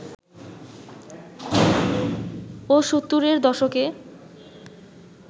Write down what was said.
ও ৭০-এর দশকে